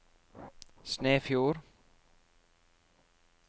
Snefjord